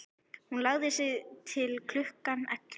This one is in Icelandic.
Hún lagði sig til klukkan ellefu.